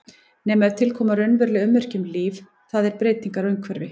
Nema ef til koma raunveruleg ummerki um líf, það er breytingar á umhverfi.